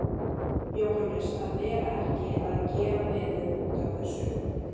Jóhannes, að vera ekki að gera veður útaf þessu.